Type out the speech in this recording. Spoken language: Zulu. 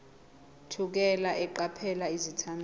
thukela eqaphela izethameli